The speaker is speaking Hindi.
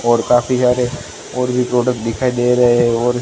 और काफी ज्यादे और भी प्रोडक्ट दिखाई दे रहे हैं और--